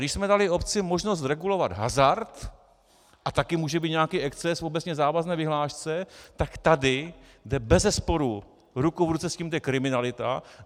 Když jsme dali obci možnost regulovat hazard, a taky může být nějaký exces v obecně závazné vyhlášce, tak tady jde bezesporu ruku v ruce s tím kriminalita.